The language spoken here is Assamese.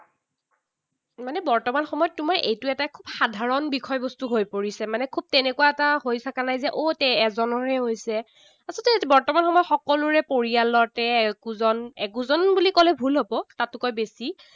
মানে বৰ্তমান সময়ত তোমাৰ এইটো এটা সাধাৰণ বিষয়বস্তু হৈ পৰিছে। মানে খুব তেনেকুৱা এটা হৈ থকা নাই যে অ, এজনৰহে হৈছে। আচলতে বৰ্তমান সময়ত সকলোৰে পৰিয়ালতে একোজন, একোজন বুলি কলে ভুল হব, তাতোকৈ বেছি।